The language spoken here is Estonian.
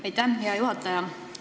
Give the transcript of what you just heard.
Aitäh, hea juhataja!